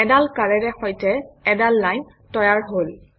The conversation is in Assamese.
এডাল কাঁড়েৰে সৈতে এডাল লাইন তৈয়াৰ হল